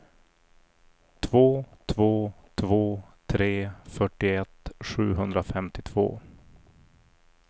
två två två tre fyrtioett sjuhundrafemtiotvå